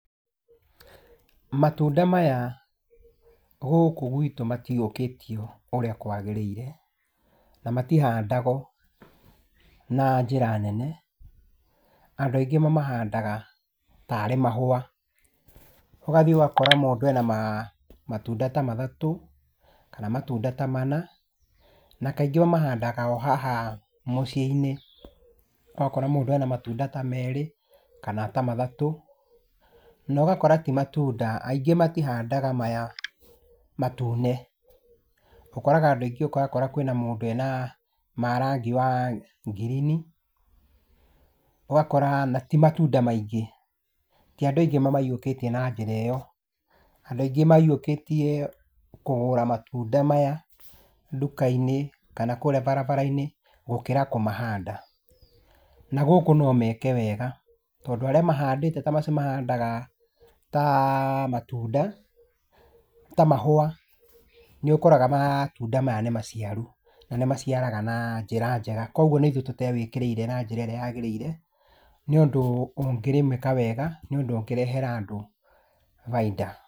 Matunda maya gũkũ gwĩtũ matihiũkĩtio ũrĩa kwagĩrĩire, na matihandagwo na njĩra nene, andũ aingĩ mamahandaga ta rĩ mahũa, ũgathiĩ ũgakora mũndũ e na matunda ta matatũ kana matunda ta mana, na kaingĩ ũmahandaga o haha mũciĩ-inĩ. Ũgakora mũndũ e na matunda ta merĩ kana ta matatũ, na ũgakora ti matunda, angĩ matihandaga maya matune, ũkoraga andũ aingĩ, ũrakora kwĩ na mũndũ wĩ na ma rangi wa ngirini, ũgakora na ti matunda maingĩ, ti andũ aingĩ mamahiũkĩtie na njĩra ĩ yo. Andũ aingĩ mahiũkĩtie kũgũra matunda maya kũria ndũka-inĩ kana mabarabara-inĩ gũkĩra kũmahanda. Na gũkũ no meke wega tondũ arĩa mahandĩte ta macio mahandaga ta matunda , ta mahua nĩũkoraga matunda maya nĩmaciaru, na nĩmaciaraga na njĩra njega, kogwo nĩ ithuĩ tũtawĩkĩrĩire na njĩra ĩrĩa nyagĩrĩire, nĩ ũndũ ũngĩrĩmĩka wega, nĩ ũndũ ũngĩrehera andũ bainda.